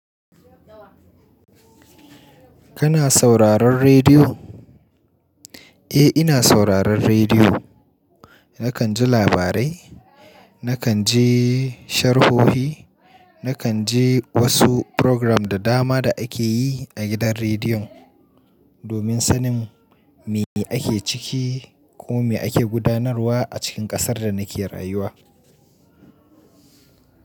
Kana sauraron rediyo? Eh, ina sauraron rediyo. Nakan ji labarai, nakan ji sharhohi, nakan ji wasu program da dama da ake yi a gidan rediyon domin sanin me ake ciki ko me ake gudanarwa a cikin ƙasar da nake rayuwa.